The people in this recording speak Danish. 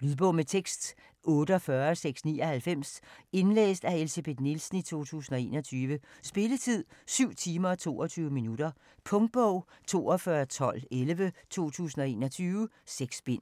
Lydbog med tekst 48699 Indlæst af Elsebeth Nielsen, 2021. Spilletid: 7 timer, 22 minutter. Punktbog 421211 2021. 6 bind.